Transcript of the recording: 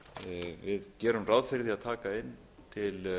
við gerum ráð fyrir að taka inn til